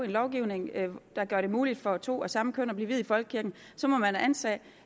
lovgivning der gør det muligt for to af samme køn at blive viet i folkekirken så må man antage